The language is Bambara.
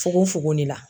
Fukofogon de la